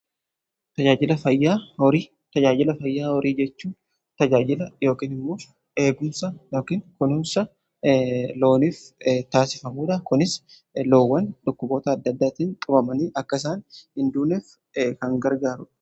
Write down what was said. tajaajila fayyaa horii jechuun tajaajila yookiin immoo eegumsa yookiin kunuunsa looniif taasifamuudha. kunis loowwan dhukkuboota adda addaatiin qabamanii akka isaan hin duuneef kan gargaaruudha.